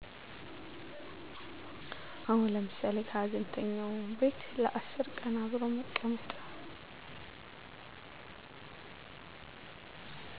አዎ ለምሳሌ ከሀዘንተኛው ቤት ለ10 ቀን አብሮ መቀመጥ